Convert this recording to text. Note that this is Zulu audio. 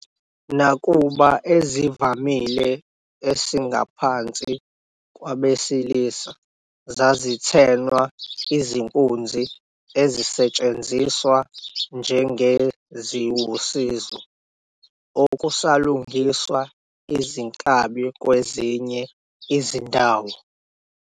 Nakuba ezivamile esingaphansi kwabesilisa zazithenwa, izinkunzi ezisetshenziswa njengeziwusizo okusalungiswa izinkabi kwezinye izindawo.